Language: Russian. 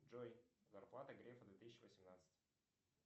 джой зарплата грефа две тысячи восемнадцать